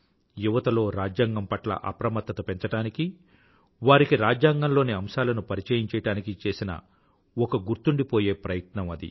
యువతలో రాజ్యాంగం పట్ల అప్రమత్తత పెంచడానికి వారికి రాజ్యాంగంలోని అంశాలను పరిచయం చెయ్యడానికి చేసిన ఒక గుర్తుండిపోయే ప్రయత్నం అది